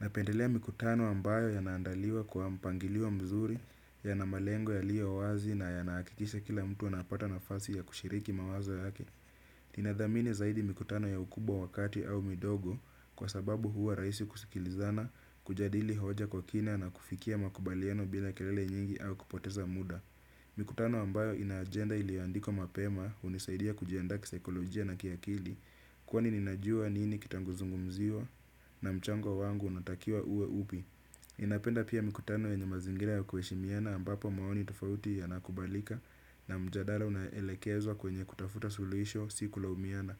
Napendelea mikutano ambayo yanaandaliwa kwa mpangilio mzuri, yana malengo yaliyo wazi na yanahakikisha kila mtu anapata nafasi ya kushiriki mawazo yake. Ina dhamini zaidi mikutano ya ukubwa wa kati au midogo kwa sababu huwa rahisi kusikilizana, kujadili hoja kwa kina na kufikia makubaliano bila kelele nyingi au kupoteza muda. Mikutano ambayo ina ajenda iliandikwa mapema hunisaidia kujiandaa kisaikolojia na kiakili. Kwani ninajua nini kitazungumziwa na mchango wangu unatakiwa uwe upi napenda pia mikutano yenye mazingira ya kuheshimiana ambapo maoni tofauti yanakubalika. Na mjadala unaelekezwa kwenye kutafuta sulisho siku kulaumiana.